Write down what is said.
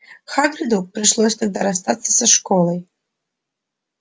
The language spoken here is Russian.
хагриду пришлось тогда расстаться со школой